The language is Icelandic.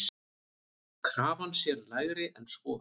Krafan sé lægri en svo.